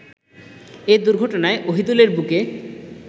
এ দুর্ঘটনায় অহিদুলের বুকে